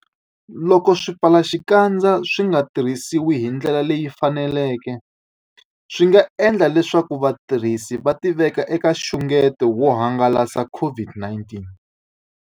Loko swipfalaxikandza swi nga tirhisiwi hi ndlela leyi faneleke, swi nga endla leswaku vatirhisi va tiveka eka nxungeto wo hangalasa COVID-19.